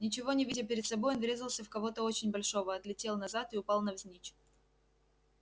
ничего не видя перед собой он врезался в кого-то очень большого отлетел назад и упал навзничь